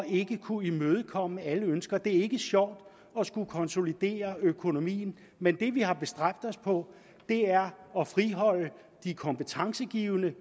ikke at kunne imødekomme alle ønsker det er ikke sjovt at skulle konsolidere økonomien men det vi har bestræbt os på er at friholde de kompetencegivende